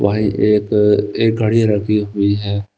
भाई एक एक घड़ी रखी हुई है।